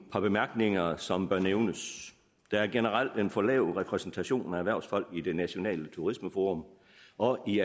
par bemærkninger som bør nævnes der er generelt en for lav repræsentation af erhvervsfolk i det nationale turismeforum og i